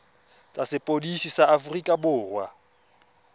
tsa sepodisi sa aforika borwa